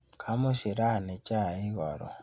Kamushi rani chaik karon.